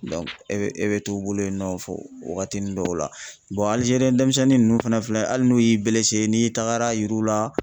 e bɛ e bɛ to u bolo yen nɔ wagatinin dɔw la Alizeriyɛ denmisɛnnin ninnu fana filɛ, hali n'u y'i n'i tagara a yiriw la